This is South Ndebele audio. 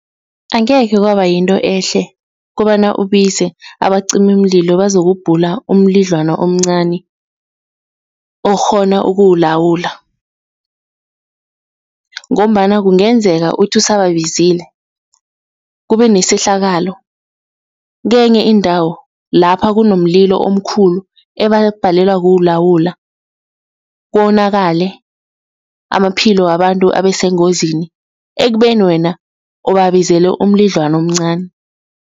Angekhe kwaba yinto ehle kobana ubize abacimimlilo bazokubhula umlidlwana omncani okghona ukuwulawula ngombana kungenzeka uthi usababizile, kubenesehlakalo kenye indawo lapha kunomlilo omkhulu ebabhalelwa kulawula, konakele amaphilo wabantu abesengozini ekubeni wena ubabizele umlidlwana omncani.